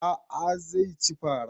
A'a zai ci fara